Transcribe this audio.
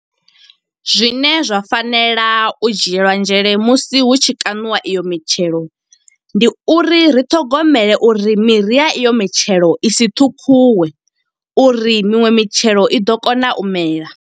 Zwine zwa fanela u dzhielwa nzhele musi hu tshi kaṋiwa iyo mitshelo. Ndi uri ri ṱhogomele uri miri ya iyo mitshelo i si ṱhukhuwe, uri miṅwe mitshelo i ḓo kona u mela.